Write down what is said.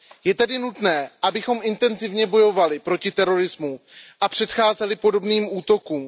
Je tedy nutné, abychom intenzivně bojovali proti terorismu a předcházeli podobným útokům.